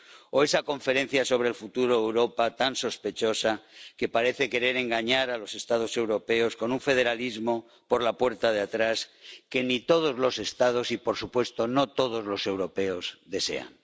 o esa Conferencia sobre el Futuro de Europa, tan sospechosa, que parece querer engañar a los Estados europeos con un federalismo por la puerta de atrás, que ni todos los Estados ni, por supuesto, todos los europeos desean.